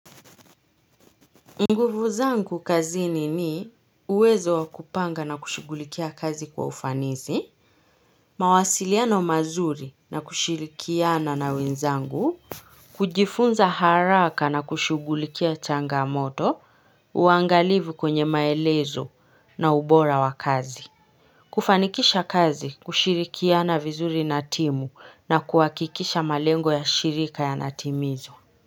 Nguvu zangu kazini ni uwezo wakupanga na kushughulikia kazi kwa ufanisi, mawasiliano mazuri na kushirikiana na wenzangu. Kujifunza haraka na kushughulikia changamoto uangalivu kwenye maelezo na ubora wakazi. Kufanikisha kazi kushirikiana vizuri na timu na kuhakikisha malengo ya shirika yanatimizwa.